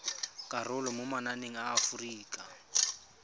karolo mo mananeng a aforika